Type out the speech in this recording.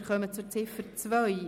Wir kommen zu Ziffer 2.